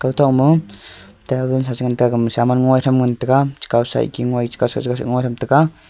aga tongma table sa che ngan tega gama saman jali che tham ngan tega ngan tega.